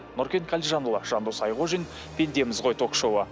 нұркен қалижанұлы жандос айқожин пендеміз ғой ток шоуы